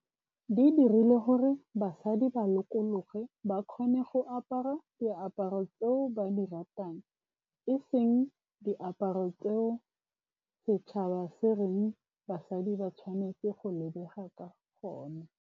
Di dirile gore basadi ba lokologe ba kgone go apara diaparo tseo ba di ratang, e seng diaparo tseo setšhaba se reng basadi ba tshwanetse go lebega ka gone.